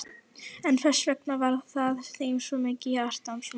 En hversvegna var það þeim svo mikið hjartans mál?